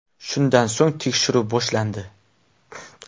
Shundan so‘ng tekshiruv boshlandi.